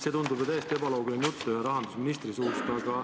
See tundub täiesti ebaloogiline jutt ühe rahandusministri suust.